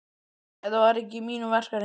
Þetta er ekki í mínum verkahring.